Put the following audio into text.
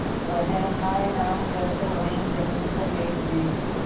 वह हाय राम कहकर वहीं जमीन पर लेट गई